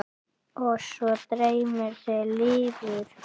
Og svo dreymir þig lifur!